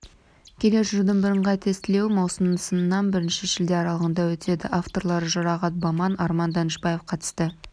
келер жылдың бірыңғай тестілеуі маусымның сынан бірінші шілде аралығында өтеді авторлары жұрағат баман арман данышбаев қатысты